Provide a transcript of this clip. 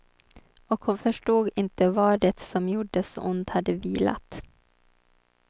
Och hon förstod inte var det som gjorde så ont hade vilat.